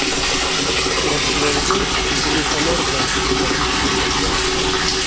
Ishtirokchilarga ko‘chaga fonar bilan chiqish taklif qilinmoqda.